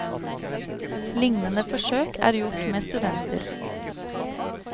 Lignende forsøk er gjort med studenter.